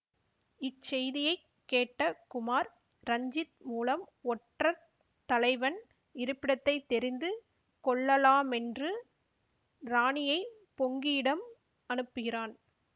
இச்செய்தியைக் கேட்ட குமார் ரஞ்சித் மூலம் ஒற்றர் தலைவைன் இருப்பிடத்தை தெரிந்து கொள்ளலாமென்று ராணியை பொங்கியிடம் அனுப்புகிறான்